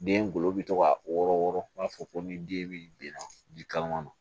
Den golo bi to ka wɔɔrɔ u b'a fɔ ko ni den bɛ bin na ji kalaman na